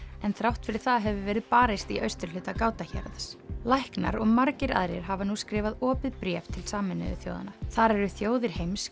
en þrátt fyrir það hefur verið barist í austurhluta Ghouta héraðs læknar og margir aðrir hafa nú skrifað opið bréf til Sameinuðu þjóðanna þar eru þjóðir heims